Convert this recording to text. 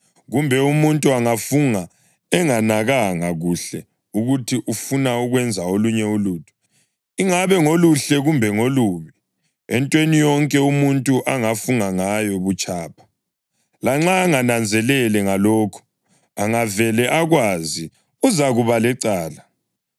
kumbe umuntu angafunga enganakananga kuhle ukuthi ufuna ukwenza olunye ulutho, ingabe ngoluhle kumbe ngolubi (entweni yonke umuntu angafunga ngayo butshapha) lanxa engananzelele ngalokho, angavele akwazi uzakuba lecala,